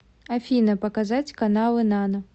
афина показать каналы нано